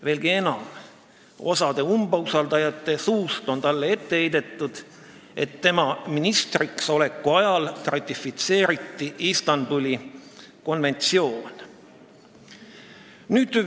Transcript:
Veelgi enam, osa umbusaldajaid on talle ette heitnud, et tema ministriks oleku ajal ratifitseeriti Istanbuli konventsioon.